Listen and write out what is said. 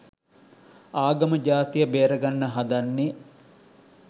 ආගම ජාතිය බෙර ගන්න හදන්නෙ